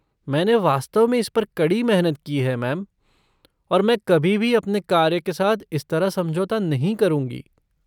मैंने वास्तव में इस पर कड़ी मेहनत की है, मैम, और मैं कभी भी अपने कार्य के साथ इस तरह समझौता नहीं करूँगी।